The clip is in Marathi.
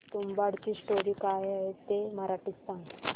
तुंबाडची स्टोरी काय आहे ते मराठीत सांग